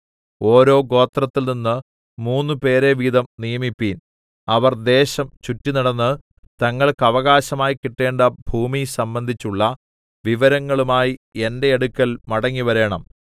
ഓരോ ഗോത്രത്തിൽനിന്ന് മൂന്നു പേരെ വീതം നിയമിപ്പീൻ അവർ ദേശം ചുറ്റിനടന്ന് തങ്ങൾക്ക് അവകാശമായി കിട്ടേണ്ട ഭൂമി സംബന്ധിച്ചുള്ള വിവരങ്ങളുമായി എന്റെ അടുക്കൽ മടങ്ങിവരേണം